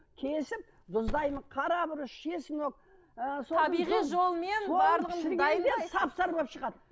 кесіп тұздаймын қара бұрыш чеснок ыыы соны пісіргенде сап сары болып шығады